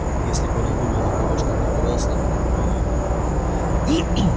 если корел выиграл от того что торговал с нами то выиграли и мы